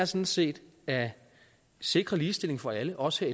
sådan set er at sikre ligestilling for alle og også